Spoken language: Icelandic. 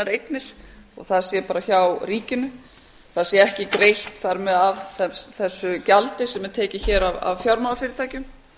eignir og það sé bara hjá ríkinu það sé ekki greitt þar með af þessu gjaldi sem er tekið hér af fjármálafyrirtækjum